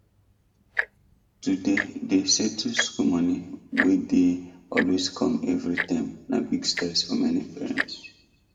to dey dey settle school money wey dey always come every term na big stress for many parents